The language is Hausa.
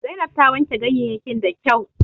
Zainab ta wanke ganyeyyakin da kyau